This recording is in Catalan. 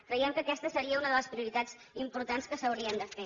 creiem que aquesta seria una de les prioritats importants que s’haurien de fer